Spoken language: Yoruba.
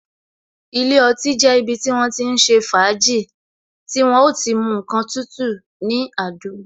Ilé ọtí jẹ́ ibi tí wọ́n ti ń ṣe fàájì, tí wọ́n o ti mu ǹkan tútù ní àdúgbò.